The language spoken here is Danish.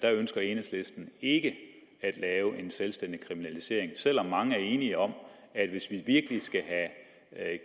ønsker enhedslisten ikke at lave en selvstændig kriminalisering selv om mange er enige om at hvis vi virkelig skal have